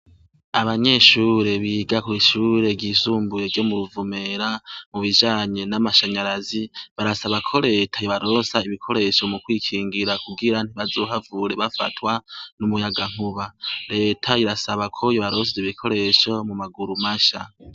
Abanyeshure biga kw'ishure ryizumbuye ryo mu ruvumera mu bijanye n'amashanyarazi barasaba ko leta ybaroosa ibikoresho mu kwikingira kugira ntibazohavure bafatwa n'umuyaga nkuba leta irasaba ko yobarosa ibikoresho mu maguru masha.